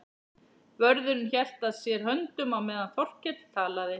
Vörðurinn hélt að sér höndum á meðan Þórkell talaði.